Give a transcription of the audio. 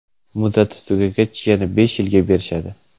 Muddati tugagach, yana besh yilga berishadi.